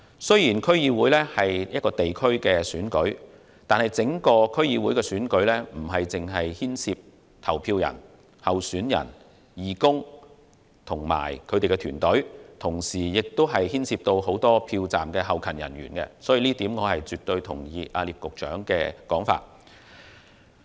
雖然區議會是一個地區選舉，但整個區議會選舉不只牽涉投票人、候選人、義工及團隊，同時亦牽涉很多票站後勤人員，所以我絕對同意聶局長的說法。